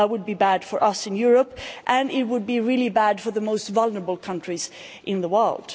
That would be bad for us in Europe and it would be really bad for the most vulnerable countries in the world.